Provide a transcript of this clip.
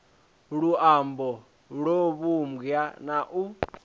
luambo lwo vhumbwa na u